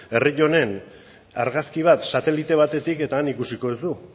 herri honen argazki bat satelite batetik eta han ikusiko duzu